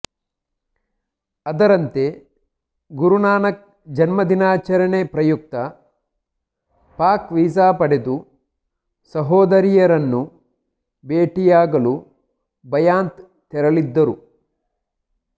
ಅದರಂತೆ ಗುರುನಾನಕ್ ಜನ್ಮದಿನಾಚರಣೆ ಪ್ರಯುಕ್ತ ಪಾಕ್ ವೀಸಾ ಪಡೆದು ಸಹೋದರಿಯರನ್ನು ಭೇಟಿಯಾಗಲು ಬಯಾಂತ್ ತೆರಳಿದ್ದರು